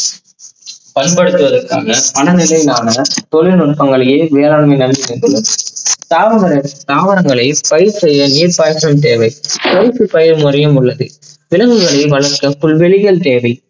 பயன்படுத்துவதற்காக மனநிலை நாம தொழில்நுட்பங்களில் வேளாண்மை அழிந்து கொண்டிருக்கிறது. தாவர~தாவரங்களை பயிற்ரை நீர் பாச்சலும் தேவை கருப்பு பயிர் முறையும் உள்ளது. விலங்குகளை வளர்க்க புல்வேளியும் தேவை.